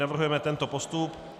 Navrhujeme tento postup: